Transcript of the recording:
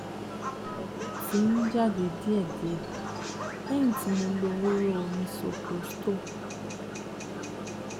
ẹ̀jẹ̀ ti ń jáde díẹ̀ díẹ̀ lẹ́yìn tí mo lo hóró misoprostol